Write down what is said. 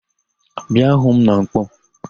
Bịa hu m na Nkpọọ!